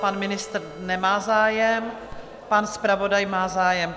Pan ministr nemá zájem, pan zpravodaj má zájem.